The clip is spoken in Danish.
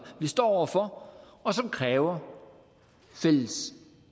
vi står over for og som kræver fælles